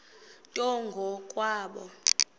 nto ngo kwabo